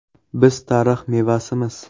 Biz tarix mevasimiz.